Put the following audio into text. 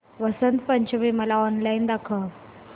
वसंत पंचमी मला ऑनलाइन दाखव